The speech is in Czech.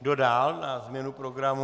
Kdo dál na změnu programu?